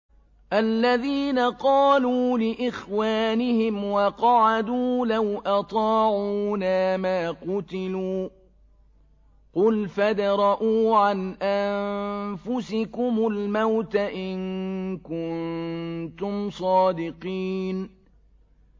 الَّذِينَ قَالُوا لِإِخْوَانِهِمْ وَقَعَدُوا لَوْ أَطَاعُونَا مَا قُتِلُوا ۗ قُلْ فَادْرَءُوا عَنْ أَنفُسِكُمُ الْمَوْتَ إِن كُنتُمْ صَادِقِينَ